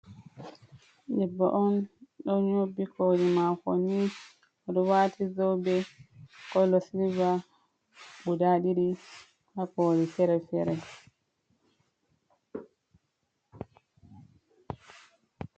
Debbo on ɗo nyobbi koli mako ni. Oɗo waati zobe kala silver guda ɗiɗi ha koli fere-fere.